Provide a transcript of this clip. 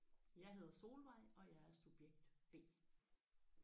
Jeg hedder Solvej og jeg er subjekt B